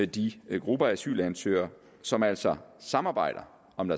de grupper af asylansøgere som altså samarbejder om